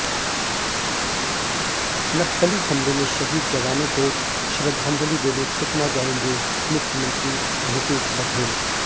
नक्सली हमले में शहीद जवानों को श्रद्धांजलि देने सुकमा जाएंगे मुख्यमंत्री भूपेश बघेल